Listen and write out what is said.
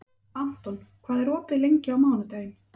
Anton, hvað er opið lengi á mánudaginn?